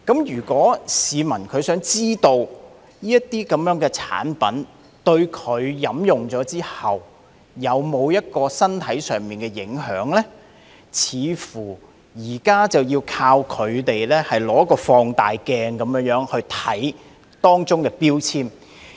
如果市民想知道飲用這些產品後對身體有否影響，現時似乎要靠放大鏡來看看當中的標籤。